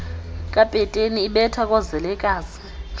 kapeteni ibetha koozelekazi